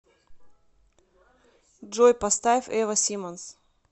джой поставь эва симонс